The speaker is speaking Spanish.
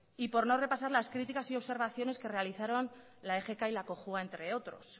y por no repasar las críticas y observaciones que realizaron la egk y la cojua entre otros